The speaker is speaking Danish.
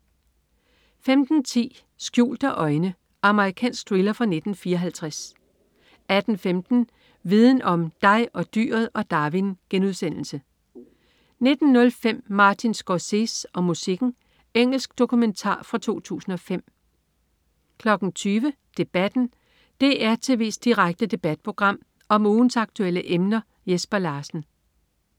15.10 Skjulte øjne. Amerikansk thriller fra 1954 18.15 Viden om: Dig, dyret og Darwin* 19.05 Martin Scorsese og musikken. Engelsk dokumentar fra 2005 20.00 Debatten. DR tv's direkte debatprogram om ugens aktuelle emner. Jesper Larsen